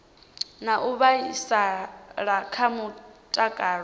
na u vhaisala kha mutakalo